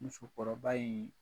Musokɔrɔba in